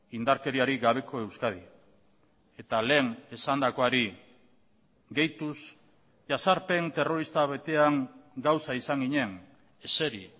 indarkeriarik gabeko euskadi eta lehen esandakoari gehituz jazarpen terrorista betean gauza izan ginen eseri